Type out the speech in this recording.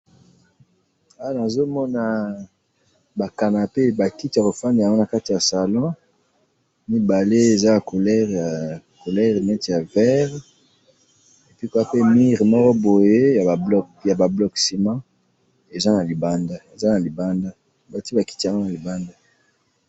Awa nazo mona ba canapes , ba kiti ya kofandela'ngo na kati ya salon ,mibale eza ya couleur ,couleur neti ya vert et puis pe mur moko boye ya ba bloc ciment eza na libanda ,eza na libanda ,batie ba kiti yango na libanda